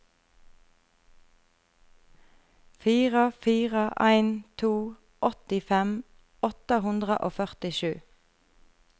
fire fire en to åttifem åtte hundre og førtisju